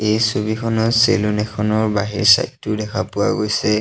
এই ছবিখনত চেলুন এখনৰ বাহিৰ চাইদ টো দেখা পোৱা গৈছে।